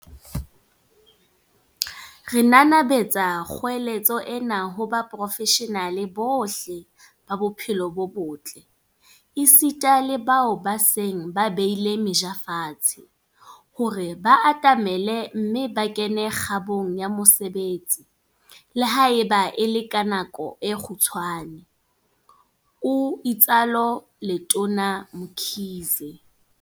"Re nanabetsa kgoeletso ena ho baporofeshenale bohle ba bophelo bo botle, esita le bao ba seng ba beile meja fatshe, hore ba atamele mme ba kene kgabong ya mosebetsi, le haeba e le ka nako e kgutshwane," o itsalo Letona Mkhize.